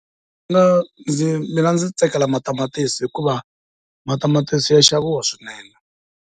Mina ndzi mina ndzi tsakela matamatisi hikuva matamatisi ya xaviwa swinene.